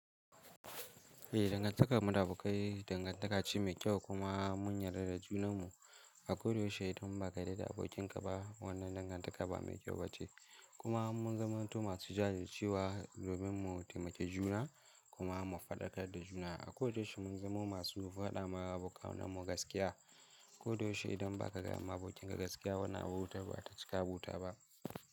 Eh dangantakar mu da abokai dangantaka ce ma kyau kuma mun yarda da junanmu. A kodayaushe idan ba ka yarda da abokin ka ba wannan dangantaka ba me kyau ba ce. Kuma mun zamanto masu jajircewa domin mu taimaki juna kuma mu fadakar da juna. A kodayaushe mun zamo masu fada ma abokanan mu gaskiya. A kodayaushe idan ba ka gaye abokin ka gaskiya wannan abotar ba ta cika abota ba.